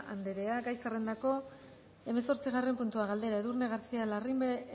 anderea gai zerrendako hamazortzigarren puntua galdera edurne garcía larrimbe